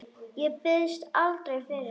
Ég biðst aldrei fyrir.